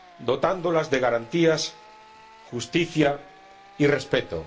dotándolas de garantías, justicia y respeto.